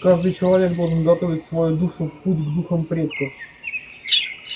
каждый человек должен готовить свою душу в путь к духам предков